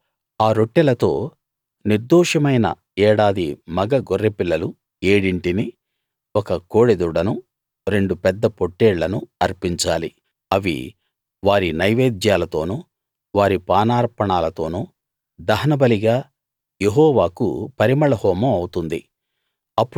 మీరు ఆ రొట్టెలతో నిర్దోషమైన ఏడాది మగ గొర్రెపిల్లలు ఏడింటిని ఒక కోడెదూడను రెండు పెద్ద పొట్టేళ్లను అర్పించాలి అవి వారి నైవేద్యాలతోను వారి పానార్పణాలతోను దహనబలిగా యెహోవాకు పరిమళ హోమం అవుతుంది